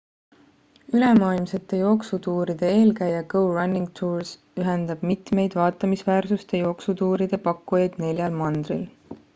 ülemaailmsete jooksutuuride eelkäija go running tours ühendab mitmeid vaatamisväärsuste jooksutuuride pakkujaid neljal mandril